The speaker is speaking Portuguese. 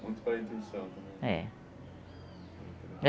Muito pela intuição também. É